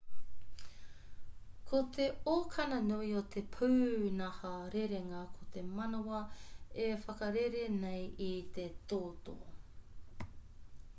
ko te okana nui o te pūnaha rerenga ko te manawa e whakarere nei i te toto